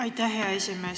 Aitäh, hea esimees!